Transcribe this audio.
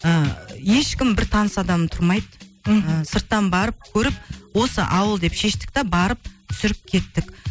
ыыы ешкім бір таныс адам тұрмайды мхм сырттан барып көріп осы ауыл деп шештік те барып түсіріп кеттік